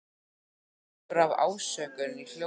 Það er broddur af ásökun í hljómnum.